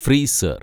freezer‍